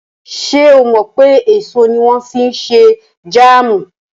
Ṣé o mọ̀ pé èso ni wọ́n fi ń ṣe jáàmù?